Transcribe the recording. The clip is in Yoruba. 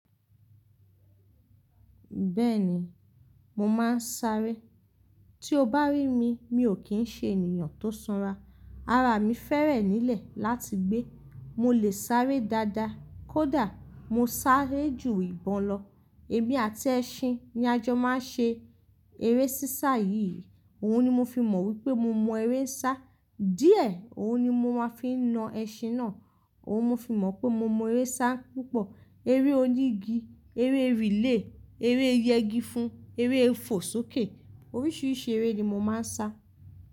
Bẹ́ẹ̀ni, mo máa ń sáré. Tí o bá rí mi, mi ò kí ń ṣe ènìyàn tó sanra. Ara mi fẹ́rẹ̀ nílẹ̀ láti gbé. Mo lè sáré dáadáa, kódà mo sáré jù ìbọn lọ. Èmi àti ẹṣin ni a jọ máa ń ṣe eré sísá yìí. Òun ni mo fi mọ̀ wípé mo mọ eré sá. Díẹ̀, òun ni mo máa ń fi na ẹṣin náà. Òun mo fi mọ̀ pé mo mọ eré sá púpọ̀. Eré onígi, eré relay eré yẹgi fún, eré fò sókè. Oríṣiríṣi eré ni mo máa ń sá.